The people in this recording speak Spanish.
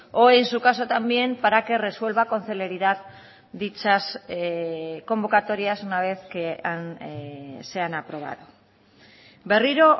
o en su caso también para que resuelva con celeridad dichas convocatorias una vez que se han aprobado berriro